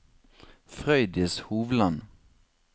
Frøydis Hovland